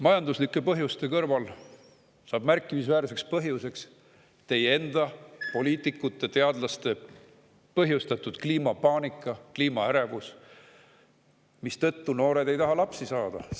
Majanduslike põhjuste kõrval saab märkimisväärseks põhjuseks teie enda, poliitikute ja teadlaste põhjustatud kliimapaanika, kliimaärevus, mistõttu noored ei taha lapsi saada.